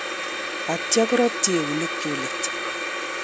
Atyo koratyi eunekchuk let